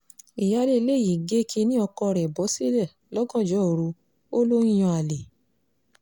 ìyáálé ilé yìí gé kínní ọkọ rẹ̀ bọ́ sílẹ̀ lọ́gànjọ́ òru ó lọ ń yan àlè